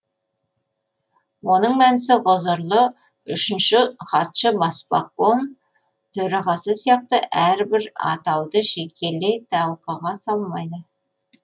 оның мәнісі ғұзырлы үшінші хатшы баспаком төрағасы сияқты әрбір атауды жекелей талқыға салмайды